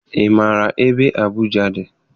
Ị maara ebe Abuja dị?